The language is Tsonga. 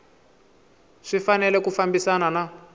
swi fanele ku fambisana na